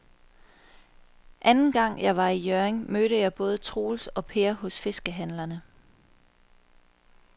Anden gang jeg var i Hjørring, mødte jeg både Troels og Per hos fiskehandlerne.